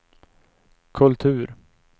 kultur